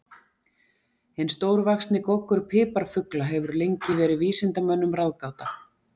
Hinn stórvaxni goggur piparfugla hefur lengi verið vísindamönnum ráðgáta.